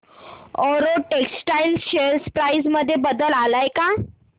Arrow textiles share price मध्ये बदल आलाय का